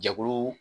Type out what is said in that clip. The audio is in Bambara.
Jɛkulu